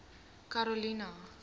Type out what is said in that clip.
karolina